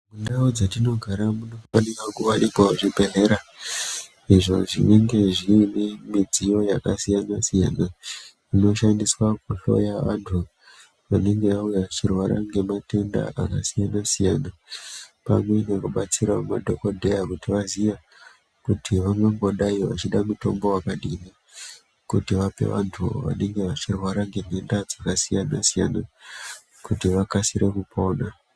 Ndau dzatinogara munofanira kuwanikwawo zvibhedhlera izvo zvinenge zvine midziyo yakasiyana siyana inoshandiswa kuhloya vantu vanenge vauya vachirwara ngematenda akasiyana siyana pamwe nekudetsera madhokodheya kuti vaziye kuti vangangodayi vachida mutombo wakadini kuti vape vantu vanenge vachirwara ngematenda akasiyana siyana kuti vakasike kupona.